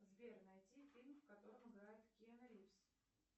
сбер найди фильм в котором играет киану ривз